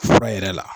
Fura yɛrɛ la